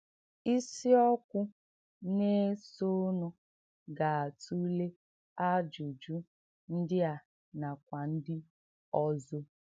Ìsìọ́kwù nà-èsò̄nụ̀ gà-àtùlé àjụ́jù ǹdí à nàkwà ǹdí ọ̀zò.